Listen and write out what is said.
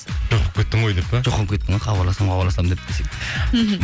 жоқ болып кеттің ғой деп пе жоқ болып кеттің ғой хабарласамын хабарласамын деп десең мхм